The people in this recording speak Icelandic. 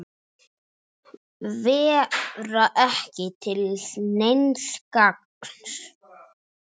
Vera ekki til neins gagns.